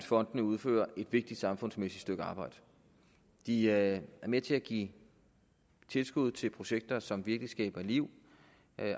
fondene udfører et vigtigt samfundsmæssigt stykke arbejde de er med til at give tilskud til projekter som virkelig skaber liv